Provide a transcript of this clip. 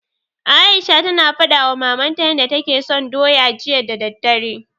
Aisha tana faɗawa mamanta yanda take so doya, jiya da daddare.